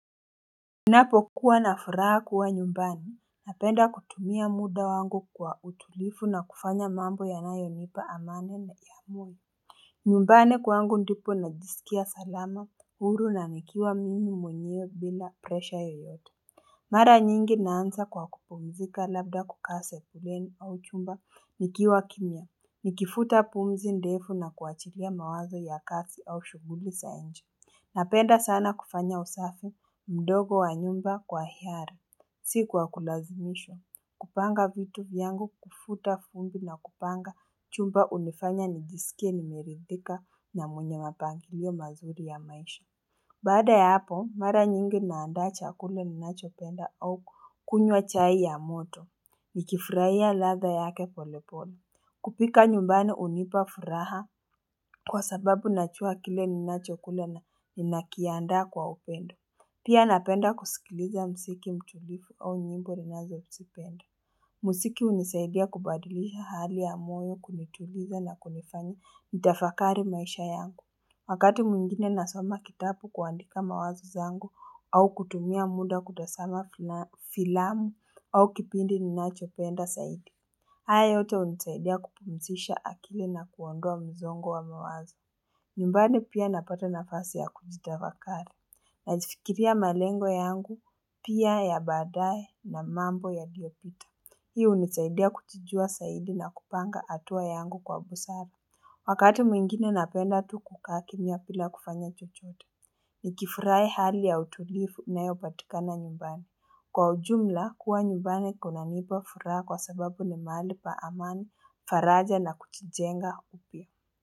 Ninapokuwa na furaha kuwa nyumbani, napenda kutumia muda wangu kwa utulifu na kufanya mambo yanayonipa amani na iamuni nyumbani kwangu ndipo najisikia salama, huru na nikiwa mimi mwenyewe bila presha yeyote Mara nyingi naanza kwa kupumzika labda kukaa sebuleni au chumba nikiwa kimya, nikifuta pumzi ndefu na kuachilia mawazo ya kasi au shughuli sa inje Napenda sana kufanya usafu mdogo wa nyumba kwa hiyari Si kwa kulazimishwa kupanga vitu vyangu kufuta fumbi na kupanga chumba unifanya nijisikie nimeridhika na mwenye mapangilio mazuri ya maisha Baada ya hapo mara nyingi naanda chakule ninachopenda au kunywa chai ya moto Nikifurahia ladha yake polepole kupika nyumbani unipa furaha Kwa sababu nachua kile ninachokula na ninakiandaa kwa upendo. Pia napenda kusikiliza msiki mtulifu au nyimbo ninazosipenda. Musiki unisaidia kubadilisha hali ya moyo kunituliza na kunifanya nitafakari maisha yangu. Wakati mwingine nasoma kitapu kuandika mawazo zangu au kutumia muda kutasama filamu au kipindi ninachopenda saidi. Haya yote unisaidia kupumisisha akili na kuondoa mzongo wa mawazo. Nyumbani pia napata nafasi ya kujitavakari. Najifikiria malengo yangu pia ya baadaye na mambo yaliopita. Hii unisaidia kuchijua saidi na kupanga atua yangu kwa busara. Wakati mwingine napenda tu kukaa kimya pila kufanya chochote. Nikifurai hali ya utulifu inayopatikana nyumbani. Kwa ujumla, kuwa nyumbani kunanipa furaha kwa sababu ni maali pa amani, faraja na kuchijenga upya.